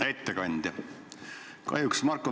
Hea ettekandja!